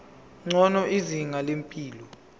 ngcono izinga lempilo